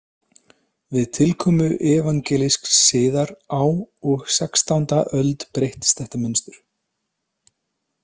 Við tilkomu evangelísks siðar á og sextánda öld breyttist þetta mynstur.